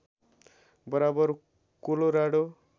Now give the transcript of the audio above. बराबर कोलोराडो